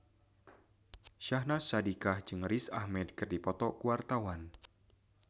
Syahnaz Sadiqah jeung Riz Ahmed keur dipoto ku wartawan